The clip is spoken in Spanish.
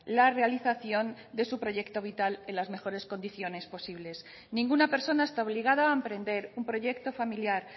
la realización de su proyecto vital en las mejores condiciones posibles ninguna persona está obligada a emprender un proyecto familiar